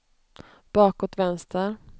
bakåt vänster